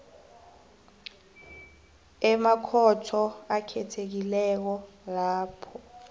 emakhotho akhethekileko lapho